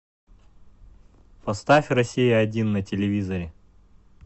поставь россия один на телевизоре